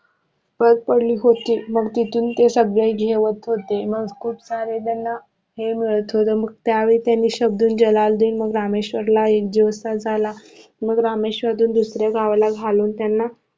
मग तिथून ते सगळे जेवत होते मग त्यावेळी त्यांनी शमशुद्धीन जलाल्लुद्धीन मग रामेश्वर ला एकदिवस दुसऱ्या गावाला घालून त्यांना